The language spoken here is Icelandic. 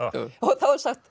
og þá er sagt